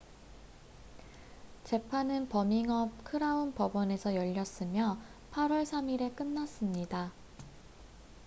재판은 버밍엄 크라운 법원에서 열렸으며 8월 3일에 끝났습니다